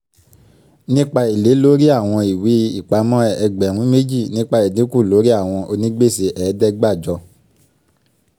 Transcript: nípa èlé lórí àwọn ìwé-ìpamọ́ ẹgbẹ̀rún méjì nípa ìdínkù lórí àwọn onígbèsè ẹ̀ẹ́dẹ́gbàjọ